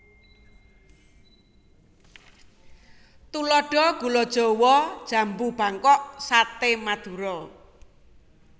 Tuladha gula jawa jambu bangkok saté madura